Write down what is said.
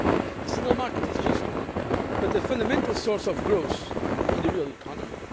The Single Market is just one but a fundamental source of growth in the real economy